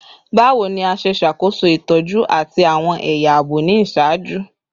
Bawo ni a ṣe ṣakoso itọju ati awọn ẹya aabo ni iṣaaju?